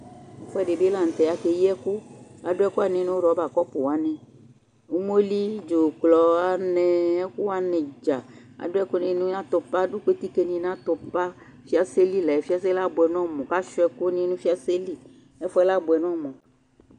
ɛfʊɛdɩ bɩ lanʊtɛ kʊ akeyi ɛkʊ adʊ ɛkʊwanɩ nʊ aŋẽ kɔpʊnɩ, umoli, dzʊklɔ, anɛ, ɛkʊwanɩ dza, adʊ ɛkʊɛdɩnɩ nʊ iko, ɛfʊ yi ɛkʊ yɛ abʊɛ nʊ ɔmʊ, kʊ asuia ɛkʊ nɩ nʊ ɛfʊ yi ɛkʊ yɛ